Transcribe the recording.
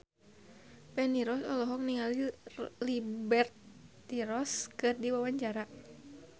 Feni Rose olohok ningali Liberty Ross keur diwawancara